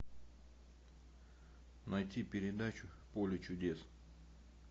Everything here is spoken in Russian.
найти передачу поле чудес